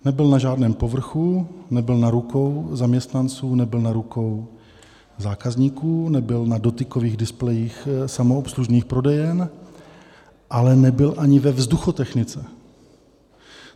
Nebyl na žádném povrchu, nebyl na rukou zaměstnanců, nebyl na rukou zákazníků, nebyl na dotykových displejích samoobslužných prodejen, ale nebyl ani ve vzduchotechnice.